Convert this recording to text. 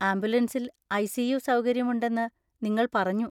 ആംബുലൻസിൽ ഐ.സി.യു. സൗകര്യമുണ്ടെന്ന് നിങ്ങൾ പറഞ്ഞു.